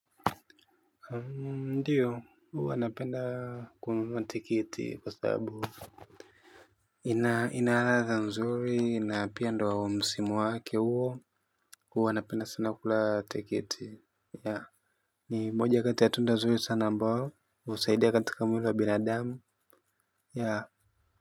Huyo huo anapenda. Ndio, wanapenda kunatiketi sababu. Ina inazunguka inapenda msimu wake huo, wanapenda sana tiketi. Yeah. Moja kati ya tunazungua sana, ambao msaideka tukamira bila yeah. Ya.